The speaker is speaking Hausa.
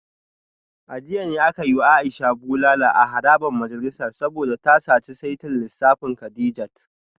A jiya ne aka yi wa Aisha bulala a harabar majalisar saboda ta saci saitin lissafin Kadijat